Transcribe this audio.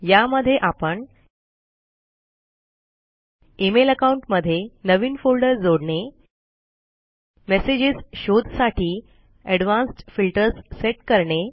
या मध्ये आपण इमेल अकाउंट मध्ये नवीन फोल्डर जोडणे मेसेजेस शोध साठी एडवांस्ड फिल्टर्स सेट करणे